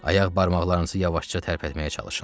Ayaq barmaqlarınızı yavaşca tərpətməyə çalışın.